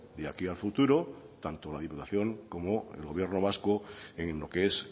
de aquí a futuro tanto la diputación como el gobierno vasco en lo que es